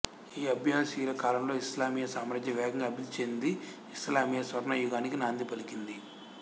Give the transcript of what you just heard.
ఈ అబ్బాసీయుల కాలంలో ఇస్లామీయ సామ్రాజ్యం వేగంగా అభివృద్ధి చెంది ఇస్లామీయ స్వర్ణయుగానికి నాంది పలికింది